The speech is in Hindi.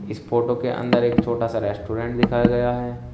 इस फोटो के अंदर एक छोटा सा रेस्टोरेंट दिखाया गया है।